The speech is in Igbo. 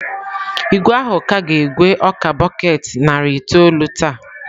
Igwe ahụ ka ga-egwe ọka bọket narị itoolụ taa.